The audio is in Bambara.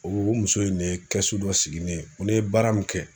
O muso in de ye dɔ sigi ne ye ni n ye baara min kɛ.